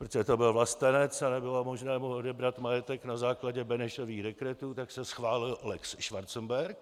Protože to byl vlastenec a nebylo možné mu odebrat majetek na základě Benešových dekretů, tak se schválil lex Schwarzenberg.